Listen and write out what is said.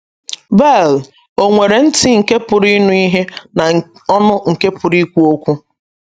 Beal ò nwere ntị nke pụrụ ịnụ ihe na ọnụ nke pụrụ ikwu okwu?